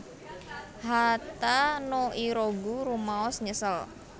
Hata no Irogu rumaos nyesel